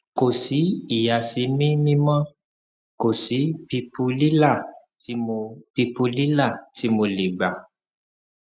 kò sí ìyàsímímímó kò sí pípùlílà tí mo pípùlílà tí mo lè gbà